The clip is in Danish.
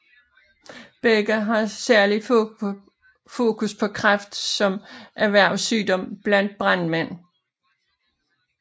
Begge har særligt fokus på kræft som erhvervssygdom blandt brandmænd